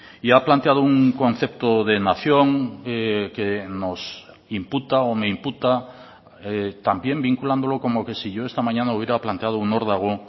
y ha planteado un concepto de nación que nos imputa o me imputa también vinculándolo como que si yo esta mañana hubiera planteado un órdago